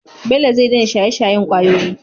bello zai daina shaye shayen kwayoyi